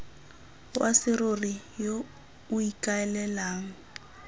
wa serori yo o ikaelelang